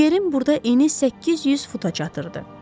Nigerin burada eni 800 futa çatırdı.